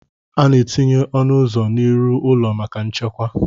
A na-etinye ọnụ ụzọ n'iru ụlọ maka nchekwa